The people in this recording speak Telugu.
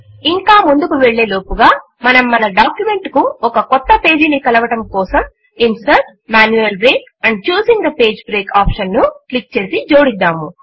ఇంకా ముందుకు వెళ్ళే లోపుగా మనము మన డాక్యుమెంట్ కు ఒక క్రొత్త పేజీను కలపడము కొరకు insert GT GT manual break and choosing the page break option ను క్లిక్ చేసి జోడిద్దాము